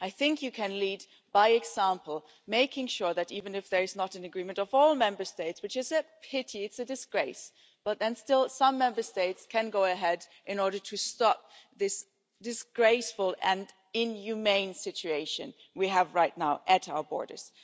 I think you can lead by example, making sure that even if there is not an agreement of all Member States which is a pity, it's a disgrace still some Member States can go ahead in order to stop this disgraceful and inhumane situation we have right now at our borders.